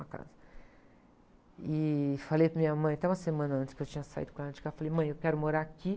uma casa. E falei para a minha mãe, até uma semana antes, que eu tinha saído com ela de carro, eu falei, mãe, eu quero morar aqui.